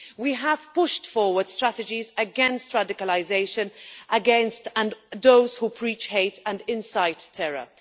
We have pushed forward strategies against radicalisation, against those who preach hate and incite terror.